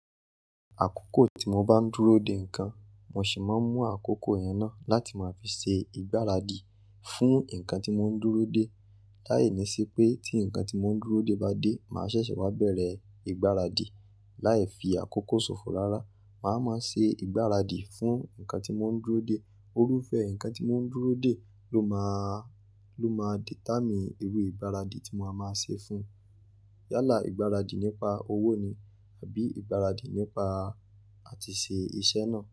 Àkókò tí mo bá ń dúróde ǹkan mo sì máa ń mú àkókò yẹn na láti ma fi ṣe ìgbára dì fún ǹkan tí mo ń dúróde láìní si pé tí nǹkan tí mò ń dúró de bá dé, mà a ṣẹ̀ṣẹ̀ wá bẹ̀rẹ̀ ìgbáradì. Láì fi àkókò ṣòfò rárá, mà a máa ṣe ìgbáradì fún nǹkan tí mò ń dúró de. Orúfẹ́ nǹkan tí mò ń dúró de ló máà, ló máa dìétámì irú ìgbáradì tí mo máa máa ṣe fún. Yálà ìgbáradì nípa owó ni àbí ìgbáradì nípa àtìṣè iṣẹ́ náà.